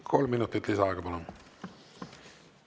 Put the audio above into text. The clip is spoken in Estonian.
Kolm minutit lisaaega, palun!